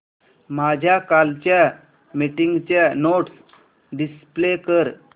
माझ्या कालच्या मीटिंगच्या नोट्स डिस्प्ले कर